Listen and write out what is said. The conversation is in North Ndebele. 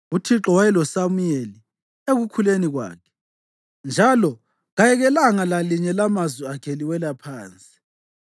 Uthixo wayeloSamuyeli ekukhuleni kwakhe, njalo kayekelanga lalinye lamazwi akhe liwela phansi.